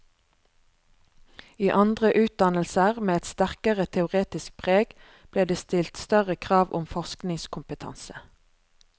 I andre utdannelser, med et sterkere teoretisk preg, ble det stilt større krav om forskningskompetanse.